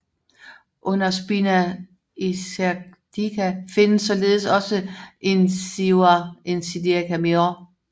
Under spina ischiadica findes således også incisura ischiadica minor